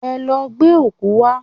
Ẹ lọ gbẹ́ ọ̀kú wá!